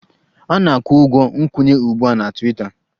A na-akwụ ụgwọ nkwenye ugbu a na Twiita